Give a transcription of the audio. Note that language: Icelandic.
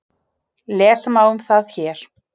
Lesa má um það hér.